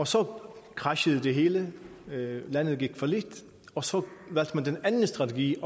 så crashede det hele landet gik fallit og så valgte man den anden strategi